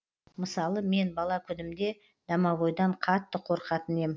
мысалы мен бала күнімде домовойдан қатты қорқатын ем